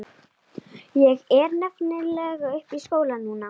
Ég er nefnilega uppi í skóla núna.